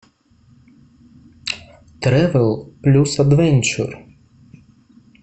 тревел плюс адвенчер